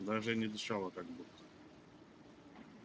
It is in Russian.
даже и не дышала как будто